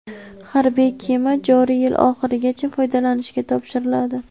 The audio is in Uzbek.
Harbiy kema joriy yil oxirigacha foydalanishga topshiriladi.